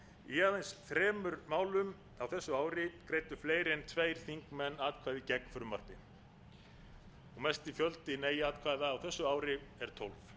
í aðeins þremur málum á þessu ári greiddu fleiri en tveir þingmenn atkvæði gegn frumvarpi mesti fjöldi nei atkvæða á þessu ári er tólf